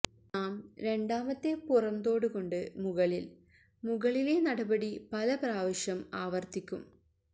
നാം രണ്ടാമത്തെ പുറംതോട് കൊണ്ട് മുകളിൽ മുകളിലെ നടപടി പല പ്രാവശ്യം ആവർത്തിക്കും